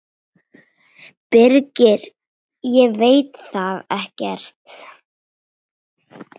Birgir: Ég veit það ekkert.